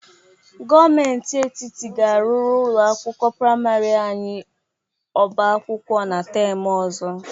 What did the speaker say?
Gomenti etiti ga-arụrụ ụlọ akwụkwọ prịmarị anyị ọba akwụkwọ na tem ọzọ.